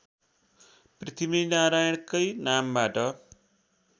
पृथ्वीनारायणकै नामबाट